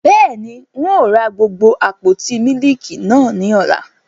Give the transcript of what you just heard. Bẹ́ẹ̀ni, Ń ó ra gbogbo àpótí mílíkì náà ni ọ́la.